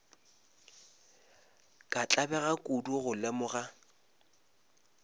ka tlabega kudu go lemoga